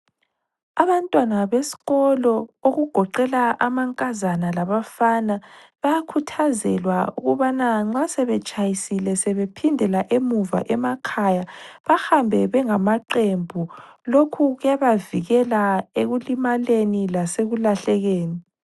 Abantwana beskolo okugoqela amankazana labafana bayakhuthazelwa ukubana nxa sebetshayisile sebephindela emuva emakhaya bahambe bengamaqembu, lokhu kuyabavikela ekulimaleni lasekulahlekeni.